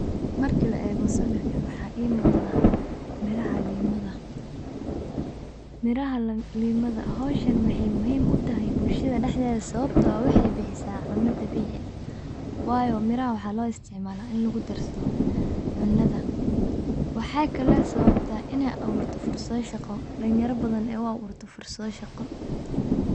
Marka la eego sawirkan, waxaa muuqda miraha liinta. Hawshan waxay muhiim u tahay bulshada sababtoo ah waxay bixisaa cunto dabiici ah. Waayo mirahan waxaa loo isticmaalaa in lagu darsado cuntada. Waxay kaloo sababtaa fursado shaqo dhalinyaro badan oo ay u abuurto fursad shaqo.